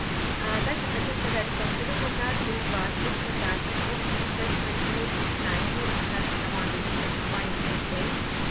также хочу сказать что абсолютно каждый из вас точно также сможет путешествовать вместе с нами вместе с нашей командой за счёт компании орифлейм